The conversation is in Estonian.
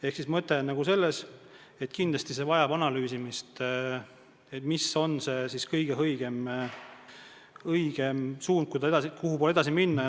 Ehk mõte on selles, et kindlasti vajab see analüüsimist, mis on kõige õigem suund, kuhu poole edasi minna.